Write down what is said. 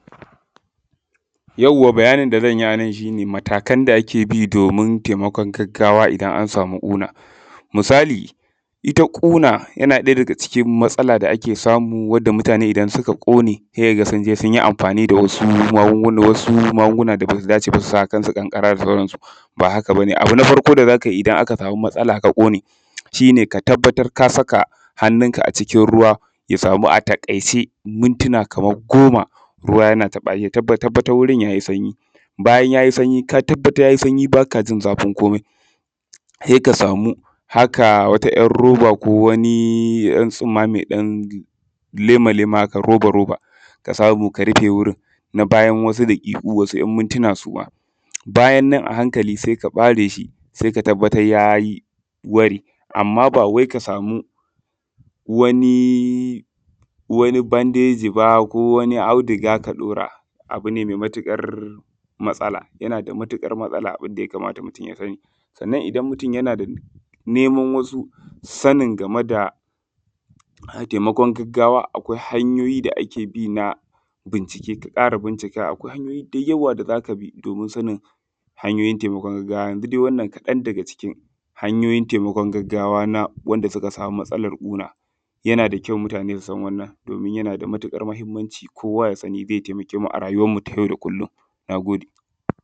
Yauwa bayanin da zan yi a nan shi ne matakan da ake bi domin taimakon gagawa idan an samu ƙuna. Misali ita ƙuna yana ɗaya daga cikin matsala da ake samu wanda mutane idan suka ƙone se ka ga sun je sun yi amfani da wasu magunguna, wasu magunguna da be dace ba su sa akan su ƙanƙara da sauransu ba haka ba ne. Abu na farko da za ka yi idan aka samu matsala na ƙuna shi ne ka tabbatar ka saka hannunka a cikin ruwa ya samu a taƙaice mintina kaman goma, ruwa yana taɓa shi ya tabbatar wurin ya yi sanyi bayan ya yi sanyi ka tabbatar ya yi sanyi ba ka jin zafin komai se ka samu haka wata yar roba ko wani ɗan tsumma da ze lema-lema haka roba-roba ka samu ka rufe wurin na bayan wasu daƙiƙu na wasu ɗan mintina suma bayan nan a hankali se ka ɓare shi se ka tabbatar ya yi ware. Amma ba wai ka samu wani wani bandeji ba ko wani audiga ka ɗaura abu ne me matuƙar matsala yana da matuƙar matsala abun da ya kamata mutum ya rinƙa yi sannan mutum in yana nema wasu sannin game da taimakon gaggawa akwain hanyoyi da ake bi na binciken ka ƙara bincikawa. Akwai hanyoyi da yawa da za ka bi domin sanin hanyoyin taimakon gaggawa dai wannan kaɗan daga cikin hanyoyin taimakon gaggawa na wanda suka sami matsalan ƙuna, yana da kyau mutane su san wannan domin yana da matuƙar mahinmanci kowa ya sani ze taimake mu a rayuwan mu na yau da kullum.